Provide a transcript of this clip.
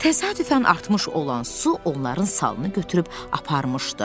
Təsadüfən artmış olan su onların salını götürüb aparmışdı.